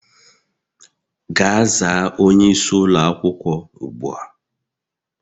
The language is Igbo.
Gaa zaa onyeisi ụlọ akwukwo ugbu a!